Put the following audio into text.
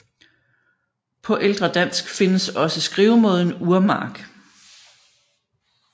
På ældre dansk findes også skrivemåden Urmark